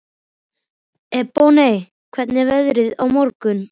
Ebonney, hvernig verður veðrið á morgun?